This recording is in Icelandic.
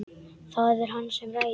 Það er hann sem ræður.